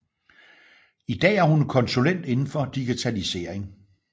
I dag er hun konsulent inden for digitalisering